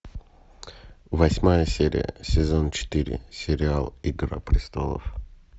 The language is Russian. восьмая серия сезон четыре сериал игра престолов